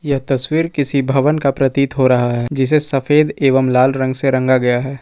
यह तस्वीर किसी भवन का प्रतीत हो रहा है जिसे सफेद एवं लाल रंग से रंग गया है।